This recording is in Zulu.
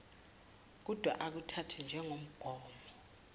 kudwa akuthathwe njengomgomo